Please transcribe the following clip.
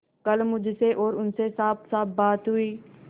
कल मुझसे और उनसे साफसाफ बातें हुई